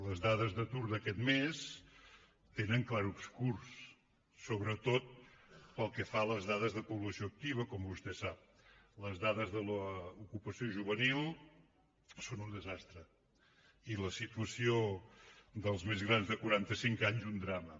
les dades d’atur d’aquest mes tenen clarobscurs sobretot pel que fa a les dades de població activa com vostè sap les dades d’ocupació juvenil són un desastre i la situació dels més grans de quaranta cinc anys un drama